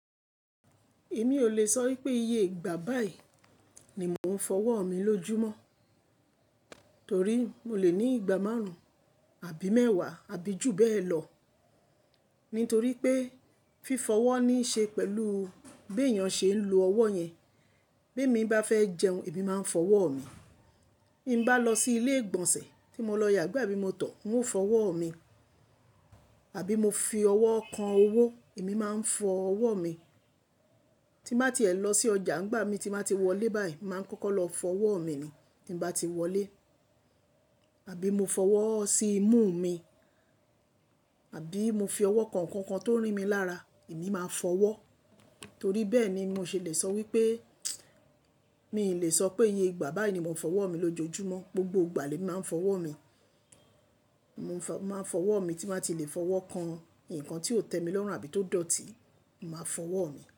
Èmi ò le sọ wípé iye ìgbà báì ni mò ń fọwọ́ mi lójúmọ́, torí mo lè ní ìgbà márùn-ún, àbí mẹ́wàá, àbí jù bẹ́ẹ̀ lọ. Nítorí pé fífọwọ́ ní ṣe pẹ̀lú bí èèyàn ṣe ń lo ọwọ́ yẹn. Bí èmi bá fẹ́ jẹun, èmi máa ń fọwọ́ mi. Bí mo bá lọ sí ilé ìgbọ̀nsẹ̀ tí mo lọ yàgbẹ́ bí mo tọ̀, n ó fọwọ́ mi. Àbí mo fi ọwọ́ kan owó, èmi máa ń fọwọ́ mi. Tí mà tí ẹ lọ sí ọjà, ńgbà mi tí mà tí wọlé báyìí, màá kọ́kọ́ lọ fọwọ́ mi ni, tí ń bá tí wọlé. Àbí mo fọwọ́ sí imú mi, àbí mo fi ọwọ́ kànǹkàn kan tó rí mi lára, èmi máa fọwọ́. Torí bẹ́ẹ̀ ni mo ṣe lè sọ wípé mi ò lè sọ pé iye ìgbà báì ni mò ń fọwọ́ mi lójoojúmọ́. Gbogbo ìgbà lé màá ń fọwọ́ mi. Mo máa ń fọwọ́ mi tí mà tí lè fọwọ́ kan nǹkan tí ó tẹ́ mi lọ́rùn, àbí tó dọ̀tí, màá fọwọ́ mi.